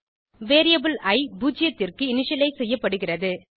variable இ பூஜ்ஜியத்திற்கு initialise செய்யப்படுகிறது